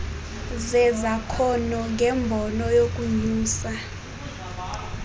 zezakhono ngembono yokunyusa